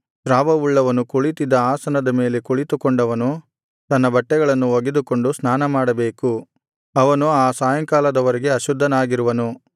ಸ್ರಾವವುಳ್ಳವನು ಕುಳಿತಿದ್ದ ಆಸನದ ಮೇಲೆ ಕುಳಿತುಕೊಂಡವನು ತನ್ನ ಬಟ್ಟೆಗಳನ್ನು ಒಗೆದುಕೊಂಡು ಸ್ನಾನಮಾಡಬೇಕು ಅವನು ಆ ಸಾಯಂಕಾಲದ ವರೆಗೆ ಅಶುದ್ಧನಾಗಿರುವನು